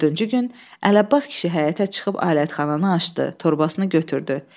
Dördüncü gün Əli Abbas kişi həyətə çıxıb alətxananı açdı, torbasını götürdü.